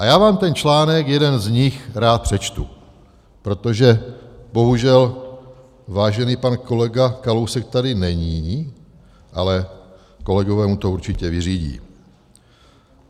A já vám ten článek, jeden z nich, rád přečtu, protože bohužel vážený pan kolega Kalousek tady není, ale kolegové mu to určitě vyřídí.